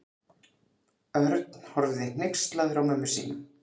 Örn horfði hneykslaður á mömmu sína.